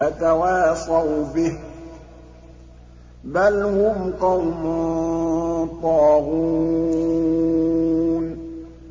أَتَوَاصَوْا بِهِ ۚ بَلْ هُمْ قَوْمٌ طَاغُونَ